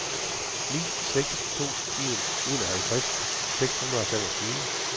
ni seks to en enoghalvtreds seks hundrede og femogtyve